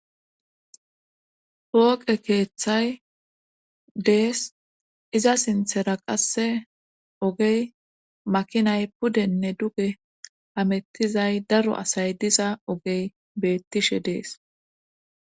Hooqe keeththay dees iza sinthera qasse ogey makinay pudenne duge hamettizay daro asay diza ogey beettishe dees.